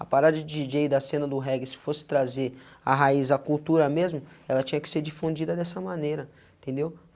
A parada de di jê is e da cena do reggae, se fosse trazer a raiz, a cultura mesmo, ela tinha que ser difundida dessa maneira, entendeu?